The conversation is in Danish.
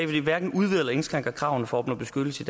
det hverken udvider eller indskrænker kravene for at opnå beskyttelse